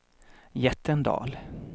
Jättendal